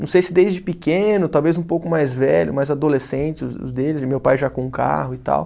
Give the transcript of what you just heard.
Não sei se desde pequeno, talvez um pouco mais velho, mais adolescente os deles, e meu pai já com um carro e tal.